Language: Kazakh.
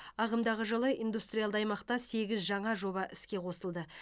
ағымдағы жылы индустриалды аймақта сегіз жаңа жоба іске қосылды